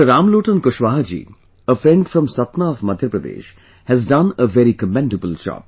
Ramlotan Kushwaha ji, a friend from Satna of Madhya Pradesh, has done a very commendable job